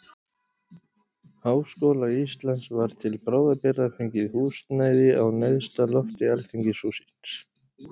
Háskóla Íslands var til bráðabirgða fengið húsnæði á neðsta lofti alþingishússins.